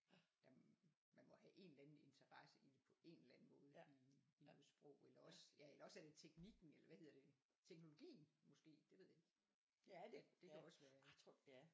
Jamen man må have en eller anden interesse i det på en eller anden måde i i noget sprog eller også ja eller også er det teknikken eller hvad hedder det teknologien måske det ved jeg ikke det kan også være